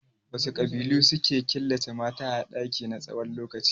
Wasu ƙabilu suke killace mata a ɗaki na tsawon lokaci?